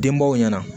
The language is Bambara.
Denbaw ɲɛna